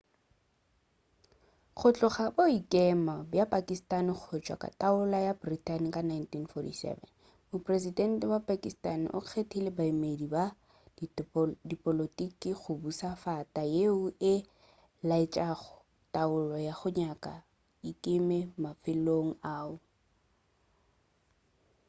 go tloga ka boikemo bja pakistani go tšwa go taolo ya britain ka 1947 mopresedente wa pakistani o kgethile baemedi ba dipolotiki go buša fata yeo e laetšago taolo ya go nyaka e ikeme mafelong ao